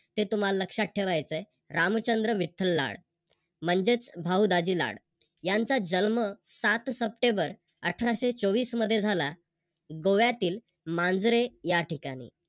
हे तुम्हाला लक्षात ठेवायच आहे. रामचंद्र विठ्ठल लाड म्हणजेच भाऊ दाजी लाड यांचा जन्म सात सप्टेंबर अठराशे चोवीस मध्ये झाला. गोव्यातील मांजरे या ठिकाणी